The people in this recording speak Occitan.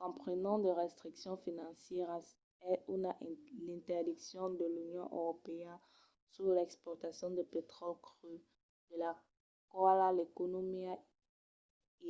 comprenon de restriccions financièras e una interdiccion de l’union europèa sus l’exportacion de petròli cru de la quala l’economia